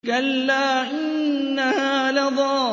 كَلَّا ۖ إِنَّهَا لَظَىٰ